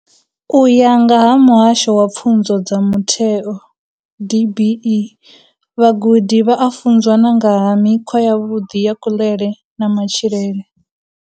U ya nga vha Muhasho wa Pfunzo dza Mutheo DBE, vhagudi vha a funzwa na nga ha mikhwa yavhuḓi ya kuḽele na matshilele.